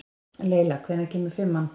Leyla, hvenær kemur fimman?